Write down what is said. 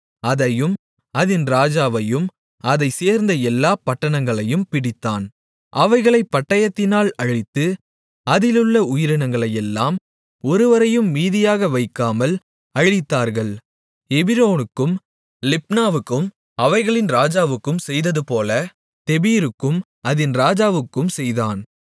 அதையும் அதின் ராஜாவையும் அதைச் சேர்ந்த எல்லாப் பட்டணங்களையும் பிடித்தான் அவைகளைப் பட்டயத்தினால் அழித்து அதிலுள்ள உயிரினங்களையெல்லாம் ஒருவரையும் மீதியாக வைக்காமல் அழித்தார்கள் எபிரோனுக்கும் லிப்னாவுக்கும் அவைகளின் ராஜாவுக்கும் செய்ததுபோல தெபீருக்கும் அதின் ராஜாவுக்கும் செய்தான்